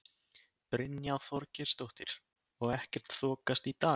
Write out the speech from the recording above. Brynja Þorgeirsdóttir: Og ekkert þokast í dag?